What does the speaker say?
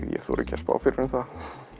þori ekki að spá fyrir um það